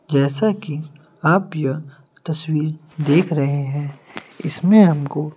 जैसा कि आप यह तस्वीर देख रहे हैं इसमें हमको--